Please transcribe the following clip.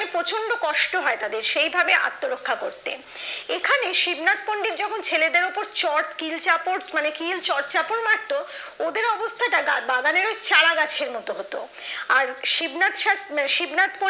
প্রচন্ড কষ্ট হয় তাদের সেইভাবে আত্মরক্ষা করতে এখানে শিবনাথ পন্ডিত যখন ছেলেদের উপর চট কিল চাপত মানে কিল চর চাপত মারতো ওদের অবস্থাটা গা বাগানের ওই চারা গাছের মতো হত আর শিবনাথ সাথ আহ শিবনাথ পন্ডিত